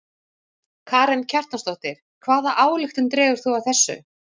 Karen Kjartansdóttir: Hvaða ályktun dregur þú af þessu?